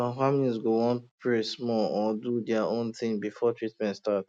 some families go wan pray small um or do their own thing before treatment start